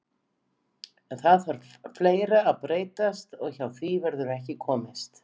En það þarf fleira að breytast og hjá því verður ekki komist.